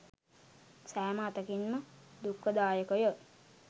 සෑම අතකින්ම දුක්ඛදායකය.